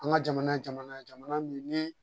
An ka jamana ye jamana min ni